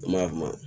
An b'a kuma